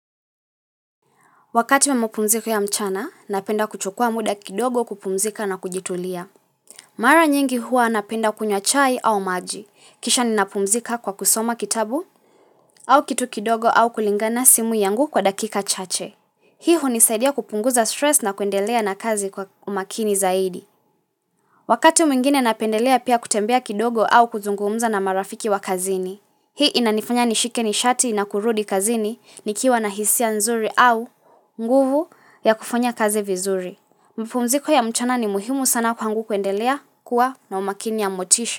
Wakati memopumziko ya mchana, napenda kuchukua muda kidogo kupumzika na kujitulia. Mara nyingi hua napenda kunywa chai au maji. Kisha ninapumzika kwa kusoma kitabu au kitu kidogo au kulingana simu yangu kwa dakika chache. Hii hunisaidia kupunguza stress na kuendelea na kazi kwa umakini zaidi. Wakati mwingine napendelea pia kutembea kidogo au kuzungumza na marafiki wa kazini. Hii inanifanya nishike ni shati na kurudi kazini ni kiwa na hisia nzuri au nguvu ya kufanya kaze vizuri. Mpumziko ya mchana ni muhimu sana kwa ngu kuendelea kuwa na umakini ya motisha.